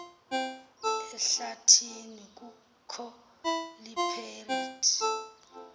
ehlathini kukho iiperile